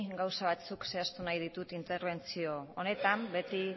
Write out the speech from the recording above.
gauza batzuk zehaztu nahi ditut interbentzio honetan beti